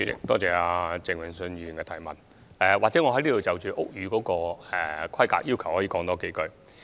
多謝鄭泳舜議員的補充質詢，或許我就屋宇規格的要求多說幾句。